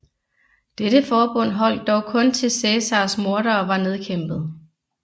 Dette forbund holdt dog kun til Cæsars mordere var nedkæmpet